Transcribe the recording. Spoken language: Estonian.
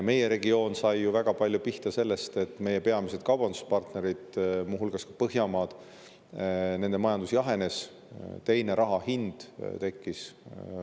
Meie regioon sai ju väga palju pihta sellest, et meie peamiste kaubanduspartnerite, muu hulgas Põhjamaade majandus jahenes, teiseks sellest, et rahale tekkis teine hind.